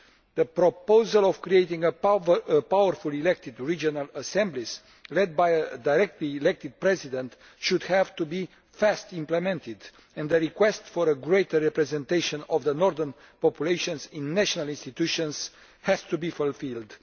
The proposal of creating powerful elected regional assemblies led by a directly elected president should be fast implemented, and the request for a greater representation of the northern populations in national institutions has to be fulfilled.